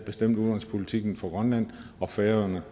bestemte udenrigspolitikken for grønland og færøerne